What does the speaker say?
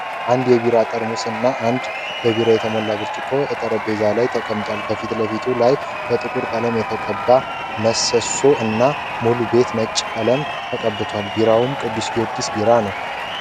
አንድ የቢራ ጠርሙስ እና አንድ በቢራ የተሞላ ብረጭቆ እጠረምጼዛ ላይ ተቀምጠዋል ።ከፊት ለፊት ላይ በጥቁር ቀለም የተቀባ መሰሶ እና ሙሉ ቤቱ ነጭ ቀለም ተቀብቷል ።ቢራውም ቅዱስ ጊወርጊስ ቢራ ነው።